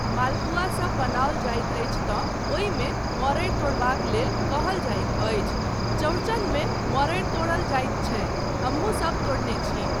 मालपूआ सब बनाओल जाइत अछि तँ ओहिमे मड़ड़ि तोड़बाक लेल कहल जाइत अछि, चौड़चनमे मड़ड़ि तोरल जाइत छै, हमहुँसब तोड़ने छी।